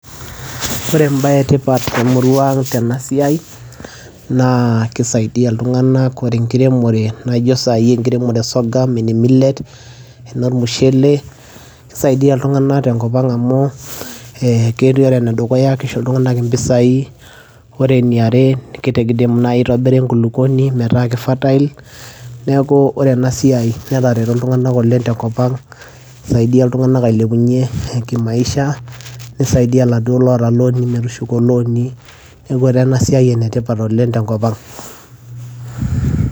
ore embaye etipat temurua ang tena siai naa kisaidia iltung'anak ore enkiremore naijo sai enkiremore e sorghum ene ]millet enormushele kisaidia iltung'anak tenkop ang amu eh, ketii ore enedukuya kisho iltung'anak impisai wore eniare kidim naaji aitobira enkukupuoni metaa ki fertile neeku ore ena siai netareto iltung'anak oleng tenkop ang isaidia iltung'anak ailepunyie kimaisha nisaidia iladuo loota iloni metushuko iloni neeku etaa ena siai enetipat oleng tenkop ang.